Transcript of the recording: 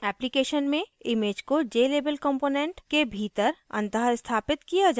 application में image को jlabel component के भीतर अंतःस्थापित किया जायेगा